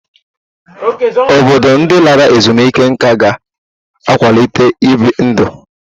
Obodo ndị lara ezumike nká ga ịkwalite ibi ndụ.